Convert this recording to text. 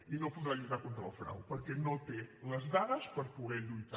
i no podrà lluitar contra el frau perquè no té les dades per poder lluitar